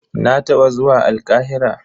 Na taɓa zuwa Alƙahira.